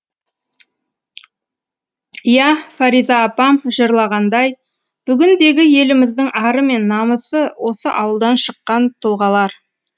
иә фариза апам жырлағандай бүгіндегі еліміздің ары мен намысы осы ауылдан шыққан тұлғалар